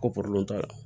Ko t'a la